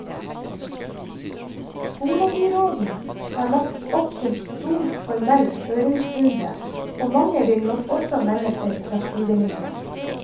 Skolebyråden har lagt opp til stor formell høringsrunde, og mange vil nok også melde seg fra sidelinjen.